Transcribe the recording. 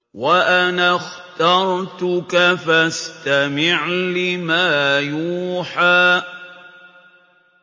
وَأَنَا اخْتَرْتُكَ فَاسْتَمِعْ لِمَا يُوحَىٰ